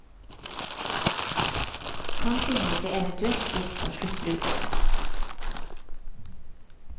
Kantingen ble eventuelt gjort av sluttbrukeren.